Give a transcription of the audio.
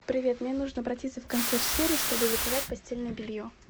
привет мне нужно обратиться в консьерж сервис чтобы заказать постельное белье